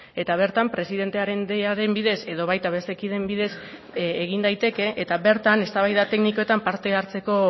eta bertan presidentearen ideiaren bidez edo baita beste kideen bidez egin daiteke eta bertan eztabaida teknikoetan parte hartzeko